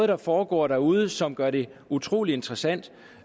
der foregår derude er som gør det utrolig interessant